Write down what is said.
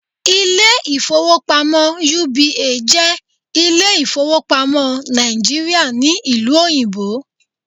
Ilé ìfowópamọ́ UBA jẹ́ Ilé ìfowópamọ́ Nàìjíríà ní Ìlú Òyìnbó